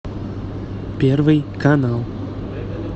первый канал